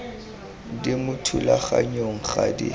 di mo thulaganyong ga di